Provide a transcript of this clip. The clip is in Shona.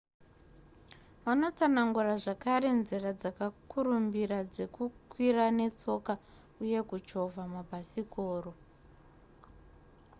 vanotsanangura zvakare nzira dzakakurumbira dzekukwira netsoka uye kuchovha mabhasikoro